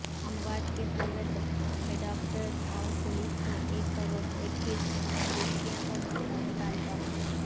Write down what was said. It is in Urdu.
اموات کی صورت میںڈاکٹرس اور پولیس کو ایک کروڑ ایکس گریشیا کا مطالبہ